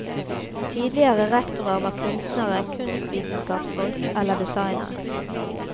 Tidligere rektorer var kunstnere, kunstvitenskapsfolk eller designere.